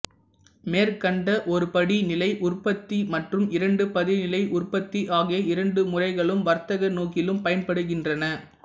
மேற்கண்ட ஒருபடி நிலை உற்பத்தி மற்றும் இரண்டு படிநிலை உற்பத்தி ஆகிய இரண்டு முறைகளும் வர்த்தக நோக்கிலும் பயன்படுகின்றன